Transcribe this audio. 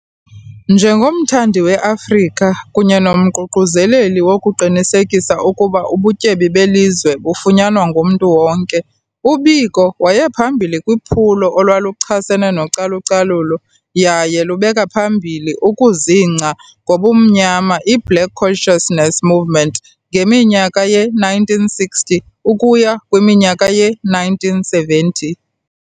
Nje ngomthandi weAfrika kunye nomququzeleli wokuqinisekisa ukuba ubutyebi belizwe bufunyanwa ngumntu wonke, uBiko wayephambili kwiphulo olwaluchasene nocalu-calulo, yaye lubeka phambili ukuzingca ngobumnyama iBlack Consciousness Movement ngeminyaka ye-1960 ukuya kwiminyaka ye-1970.